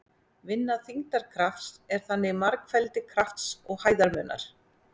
Vinna þyngdarkrafts er þannig margfeldi krafts og hæðarmunar.